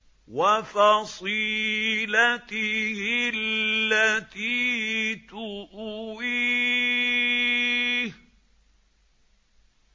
وَفَصِيلَتِهِ الَّتِي تُؤْوِيهِ